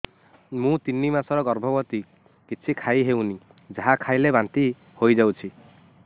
ମୁଁ ତିନି ମାସର ଗର୍ଭବତୀ କିଛି ଖାଇ ହେଉନି ଯାହା ଖାଇଲେ ବାନ୍ତି ହୋଇଯାଉଛି